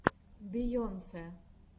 бейонсе